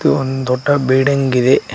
ಇದು ಒಂದು ದೊಡ್ಡ ಬಿಲ್ಡಿಂಗ್ ಇದೆ.